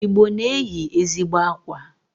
Igbo na-eyi ezigbo akwa.